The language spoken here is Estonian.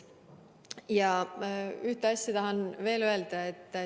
Ühte asja tahan veel öelda.